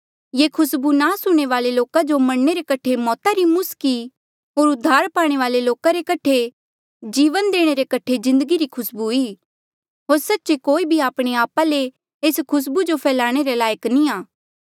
ये खुसबू नास हूणें वाले लोका जो मरणे रे कठे मौता री मुस्क ई होर उद्धार पाणे वाले लोका रे कठे जीवना देणे रे कठे जिन्दगी री खुसबू ई होर सच्चे कोई भी आपणे आपा ले एस खुसबू जो फैलाणे रे लायक नी आ